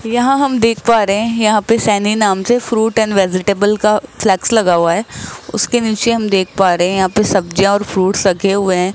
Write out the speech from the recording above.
यहां हम देख पा रहे हैं यहां पे सैनी नाम से फ्रूट एंड वेजिटेबल का फ्लेक्स लगा हुआ है उसके नीचे हम देख पा रहे हैं यहां पे सब्जियां और फ्रूट्स रखे हुए हैं।